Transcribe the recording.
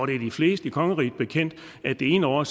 det er de fleste i kongeriget bekendt at det ene år